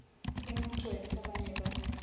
le maqwetha ba ne ba